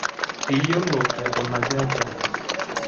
Kiyioloi aikunaki aja?